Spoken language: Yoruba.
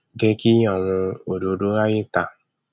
jẹ kí àwọn òdòdó ráàyè ta